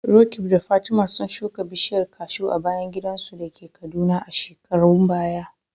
Roqeeb da Fatima sun shuka bishiyar kashu a bayan gidansu da ke Kaduna a shekarun baya.